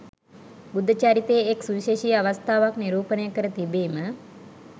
බුද්ධ චරිතයේ එක් සුවිශේෂී අවස්ථාවක් නිරූපණය කර තිබීම